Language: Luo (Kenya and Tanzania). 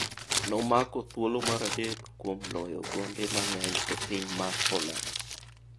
Nomako thuolo mar adek kuom loyo gonde mang'eny e piny mar poland.